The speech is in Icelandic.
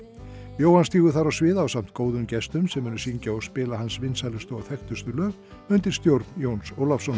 Jóhann stígur þar á svið ásamt góðum gestum sem munu syngja og spila hans vinsælustu og þekktustu lög undir stjórn Jóns Ólafssonar